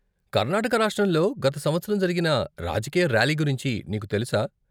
కర్నాటక రాష్ట్రంలో గత సంవత్సరం జరిగిన రాజకీయ ర్యాలీ గురించి నీకు తెలుసా?